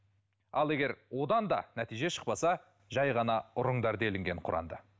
ал егер одан да нәтиже шықпаса жай ғана ұрыңдар делінген құранда